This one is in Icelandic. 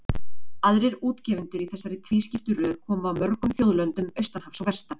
Aðrir útgefendur í þessari tvískiptu röð komu af mörgum þjóðlöndum austan hafs og vestan.